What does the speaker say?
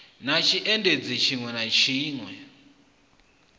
na tshiendisi tshiṋwe na tshiṋwe